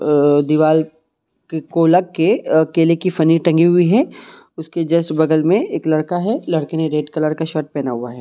आ दीवाल के कोलक के केले की फली तंगी हुई है उसके जस्ट बगल मे एक लड़का है लड़के ने रेड कलर का शर्ट पहना हुआ हैं।